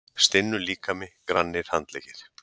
Stinnur líkami, grannir handleggir.